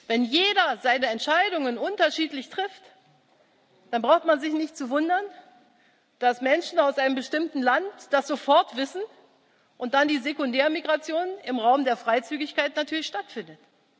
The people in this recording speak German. Wenn jeder seine Entscheidungen unterschiedlich trifft, dann braucht man sich nicht zu wundern, dass Menschen aus einem bestimmten Land das sofort wissen und dann die Sekundärmigration im Raum der Freizügigkeit natürlich stattfindet.